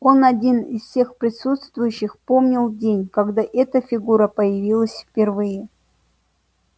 он один из всех присутствующих помнил день когда эта фигура появилась впервые